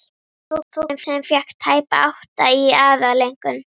Fúxinn fékk tæpa átta í aðaleinkunn.